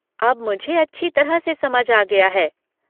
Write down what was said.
अब मुझे अच्छी तरह से समझ आ गया है।